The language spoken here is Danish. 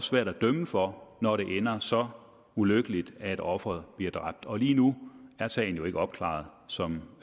svært at dømme for når det ender så ulykkeligt at offeret bliver dræbt og lige nu er sagen jo ikke opklaret som